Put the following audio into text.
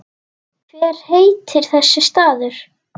Hver heitir þessi staður?